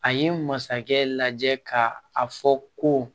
A ye masakɛ lajɛ ka a fɔ ko